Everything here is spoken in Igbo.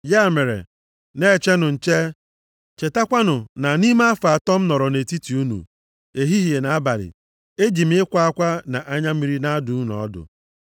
Ya mere, na-echenụ nche! Chetakwanụ na nʼime afọ atọ m nọrọ nʼetiti unu, ehihie na abalị, eji m ịkwa akwa na anya mmiri na-adụ unu ọdụ.